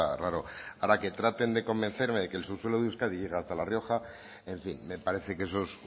raro ahora que traten de convencerme de que el subsuelo de euskadi llega hasta la rioja en fin me parece que eso es